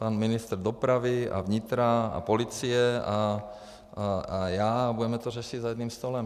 Pan ministr dopravy a vnitra a policie a já a budeme to řešit za jedním stolem.